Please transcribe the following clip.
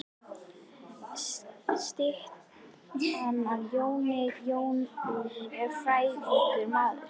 Styttan er af Jóni. Jón er frægur maður.